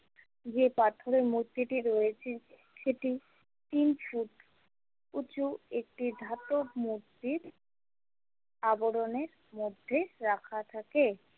যে পাথরের মূর্তিটি রয়েছে সেটি তিনশো উঁচু একটি ধাতব মূর্তির আবরণের মধ্যে রাখা থাকে।